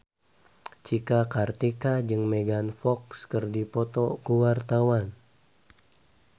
Cika Kartika jeung Megan Fox keur dipoto ku wartawan